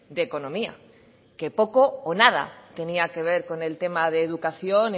de economía que poco o nada tenía que ver con el tema de educación